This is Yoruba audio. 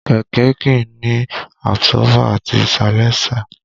Kẹ̀kẹ́ kìí ní àbsọ́fà àti salẹńsà